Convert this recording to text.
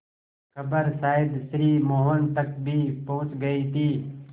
खबर शायद श्री मोहन तक भी पहुँच गई थी